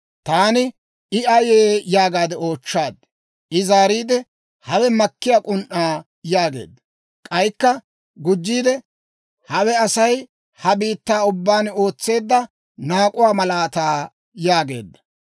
Taani, «I ayee?» yaagaade oochchaad. I zaariide, «Hawe makkiyaa k'un"aa» yaageedda. K'aykka gujjiide, «Hawe Asay ha biittaa ubbaan ootseedda naak'uwaa malaataa» yaageedda.